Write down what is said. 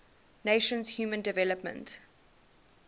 nations human development